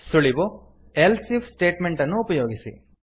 ಸುಳಿವು160 else if statement ಅನ್ನು ಉಪಯೋಗಿಸಿ